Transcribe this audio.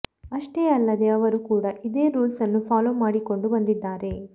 ಅಷ್ಟೇ ಅಲ್ಲದೆ ಅವರು ಕೂಡ ಇದೇ ರೂಲ್ಸ್ ಅನ್ನು ಫೋಲೋ ಮಾಡಿಕೊಂಡು ಬಂದಿದ್ದಾರೆ